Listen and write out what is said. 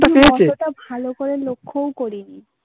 ভালো করে লক্ষ্যও করি.